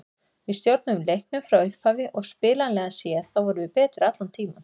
Við stjórnuðum leiknum frá upphafi og spilanlega séð þá vorum við betri allan tímann.